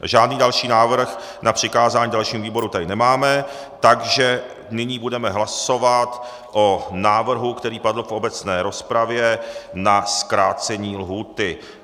Žádný další návrh na přikázání dalším výborům tady nemáme, takže nyní budeme hlasovat o návrhu, který padl v obecné rozpravě na zkrácení lhůty.